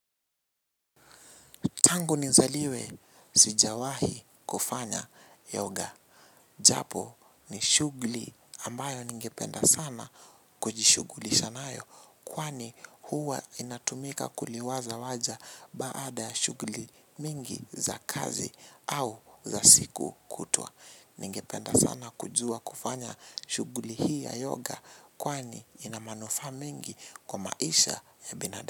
Tangu ni zaliwe, sijawahi kufanya yoga. Japo ni shughuli ambayo ningependa sana kujishughulisha nayo. Kwani huwa inatumika kuliwaza waja baada ya shughuli mingi za kazi au za siku kutwa. Ningependa sana kujua kufanya shughuli hii ya yoga kwani ina manufaa mingi kwa maisha ya binada.